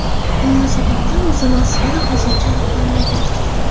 nima sababdan o‘zini osgani hozircha aniqlanmagan.